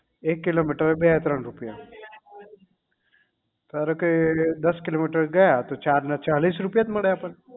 એક કિલોમીટરે બે ત્રણ રૂપિયા ધારો કે દસ કિલોમીટર ગયા તો ચાર ના ચાલીસ રૂપિયા જ મળે આપણને